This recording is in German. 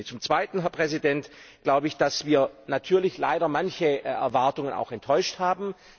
Zum Zweiten glaube ich, dass wir natürlich leider manche Erwartungen auch enttäuscht haben.